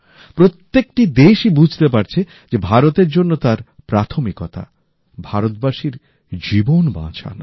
প্রত্যেকটা দেশই বুঝতে পারছে যে ভারতের জন্য তার প্রাথমিক উদ্দেশ্য ভারতবাসীর জীবন বাঁচানো